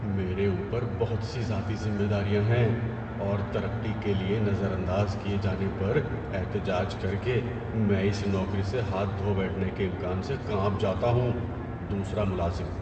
میرے اوپر بہت سی ذاتی ذمہ داریاں ہیں اور ترقی کے لیے نظر انداز کیے جانے پر احتجاج کر کے میں اس نوکری سے ہاتھ دھو بیٹھنے کے امکان سے کانپ جاتا ہوں۔ (دوسرا ملازم)